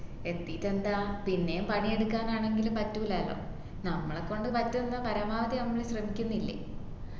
എത്തീട്ടെന്താ പിന്നേം പണി എടുക്കാനാണെങ്കിൽ പറ്റൂലല്ലോ നമ്മളെകൊണ്ട് പറ്റുന്ന പരമാവധി നമ്മൾ ശ്രമിക്കുന്നില്ലേ